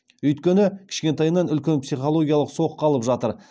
өйткені кішкентайынан үлкен психологиялық соққы алып жатыр